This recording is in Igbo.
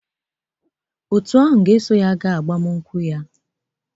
Òtù ahụ ga-eso ya gaa agbamakwụkwọ ya